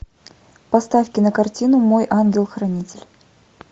поставь кинокартину мой ангел хранитель